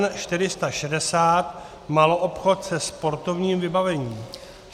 N460 - maloobchod se sportovním vybavením.